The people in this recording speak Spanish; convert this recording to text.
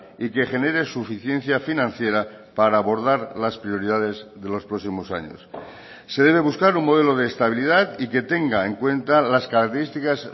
y que genere suficiencia financiera para abordar las prioridades de los próximos años se debe buscar un modelo de estabilidad y que tenga en cuenta las características